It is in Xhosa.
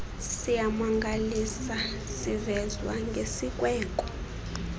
siyamangalisa sivezwa ngesikweko